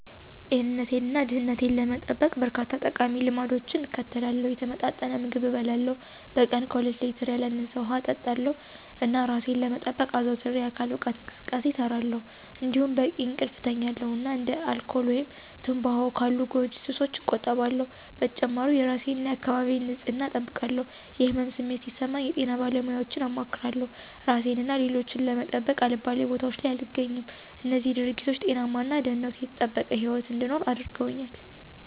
ጤንነቴን እና ደህንነቴን ለመጠበቅ፣ በርካታ ጠቃሚ ልማዶችን እከተላለሁ። የተመጣጠነ ምግብ እበላለሁ፣ በቀን ከሁለት ሌትር ያላነሰ ውሃ እጠጣለሁ፣ እና እራሴን ለመጠበቅ አዘውትሬ የአካል ብቃት እንቅስቃሴ እሰራለሁ። እንዲሁም በቂ እንቅልፍ እተኛለሁ እና እንደ አልኮል ወይም ትምባሆ ካሉ ጎጂ ሱሶች እቆጠባለሁ። በተጨማሪም የእራሴን እና የአካባቢዬን ንፅህና እጠብቃለሁ። የህመም ስሜት ሲሰማኝ የጤና ባለሙያወችን አማክራለሁ። እራሴን እና ሌሎችን ለመጠበቅ አልባሌ ቦታወች ላይ አልገኝም። እነዚህም ድርጊቶች ጤናማ እና ደህንነቱ የተጠበቀ ህይወት እንድኖር አድርገውኛል።